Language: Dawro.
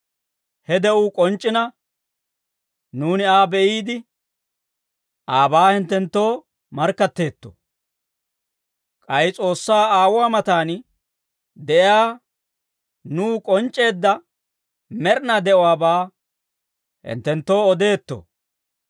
He de'uu k'onc'c'ina, nuuni Aa be'iide, aabaa hinttenttoo markkatteetto; k'ay S'oossaa Aawuwaa matan de'iyaa nuw k'onc'c'eedda med'inaa de'uwaabaa hinttenttoo odeetto.